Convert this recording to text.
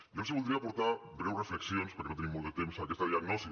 jo els voldria aportar breus reflexions perquè no tenim molt de temps a aquesta diagnosi